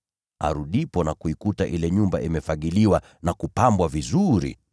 Naye arudipo na kuikuta ile nyumba imefagiliwa na kupangwa vizuri,